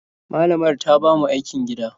Malamar ta ba mu aikin gida.